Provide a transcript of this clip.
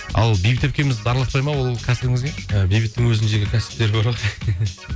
ал бейбіт әпкеміз араласпайды ма ол кәсібіңізге і бейбіттің өзінің жеке кәсіптері бар